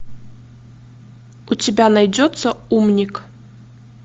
у тебя найдется умник